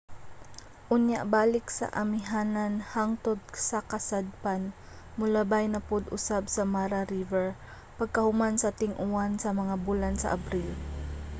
unya balik sa amihanan hangtod sa kasadpan molabay na pud usab sa mara river pagkahuman sa ting-uwan sa mga bulan sa abril